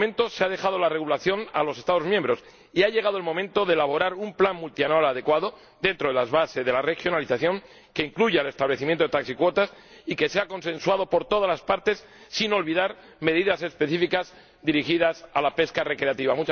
Hasta el momento se ha dejado la regulación a los Estados miembros, y ha llegado el momento de elaborar un plan multianual adecuado, dentro de las bases de la regionalización, que incluya el establecimiento de taxicuotas y que sea consensuado por todas las partes, sin olvidar medidas específicas dirigidas a la pesca recreativa.